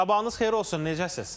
Sabahınız xeyir olsun, necəsiz?